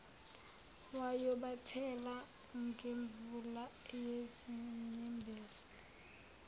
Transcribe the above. wayobathela ngemvula yezinyembezi